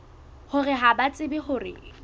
hore ha ba tsebe hore